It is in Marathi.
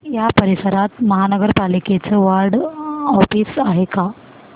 या परिसरात महानगर पालिकेचं वॉर्ड ऑफिस आहे का